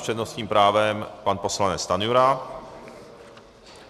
S přednostním právem pan poslanec Stanjura.